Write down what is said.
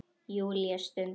Júlía stundi.